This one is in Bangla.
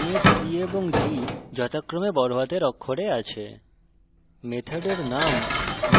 একইভাবে chess এবং game এর c এবং g যথাক্রমে বড়হাতের অক্ষরে আছে